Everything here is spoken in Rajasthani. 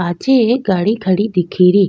पाछे एक गाड़ी खड़ी दिखे री।